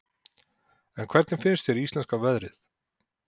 En hvernig finnst þér íslenska veðrið?